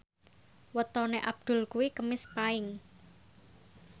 wetone Abdul kuwi Kemis Paing